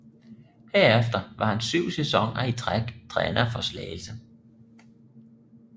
Herefter var han syv sæsoner i træk træner for Slagelse